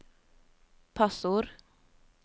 passord